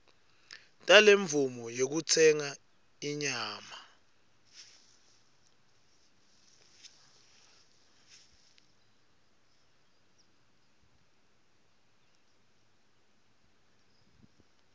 talemvumo yekutsenga inyama